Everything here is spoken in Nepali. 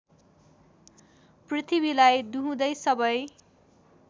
पृथ्वीलाई दुहुँदै सबै